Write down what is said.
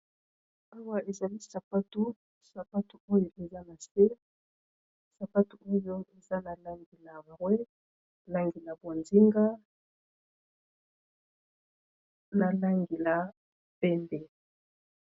Awa ezali sapatu, sapatu oyo eza na se sapatu oyo eza na langi ya mbwe, langi ya bozinga na langi ya pembe.